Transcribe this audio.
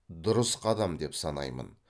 дұрыс қадам деп санаймын